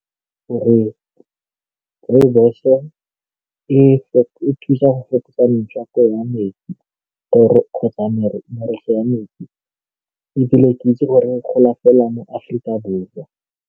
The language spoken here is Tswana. Gore rooibos-o e thusa go fokotsa metswako ya metsi kgotsa wa metsi ebile ke itse gore e gola fela mo Afrika Borwa.